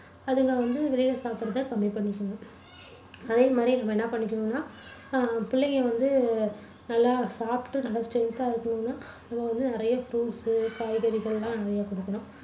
அதுங்க வந்து வெளியில சாப்பிடறதை கம்மி பண்ணிக்குங்க. அதே மாதிரி நம்ம என்ன பண்ணிக்கணுன்னா அஹ் பிள்ளைங்க வந்து நல்லா சாப்பிட்டு நல்லா strength தா இருக்கணும்னா நம்ம வந்து நிறைய fruits காய்கறிகள் எல்லாம் நிறைய கொடுக்கணும்.